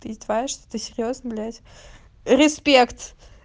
ты издеваешься ты серьёзно блять респект